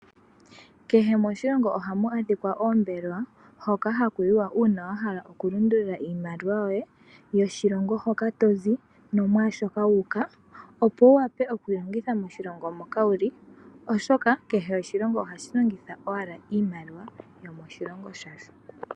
Kehe moshilongo ohamu adhika oombelewa hoka hakuyiwa uuna wahala okulundulula iimaliwa yoye yoshilongo hoka tozi nomwaashoka wuuka opo wu wape okuyilongitha moshilongo moka wuli oshoka kehe oshilongo ohashi longitha owala iimaliwa yomoshilongo shasho.